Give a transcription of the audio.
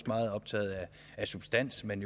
meget optaget af substansen